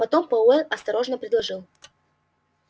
потом пауэлл осторожно предложил